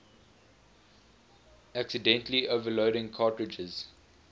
accidentally overloading cartridges